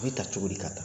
A bɛ ta cogo di ka taa